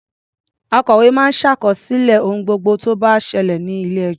Akòwé máa ń ṣàkọsílẹ̀ ohun gbogbo tó bá ṣẹlẹ̀ ní ilé-ẹjọ́.